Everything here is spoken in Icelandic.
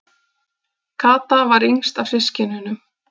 Kata var yngst af systkinunum.